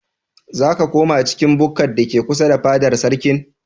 Za ka koma cikin bukkar da ke kusa da fadar sarkin?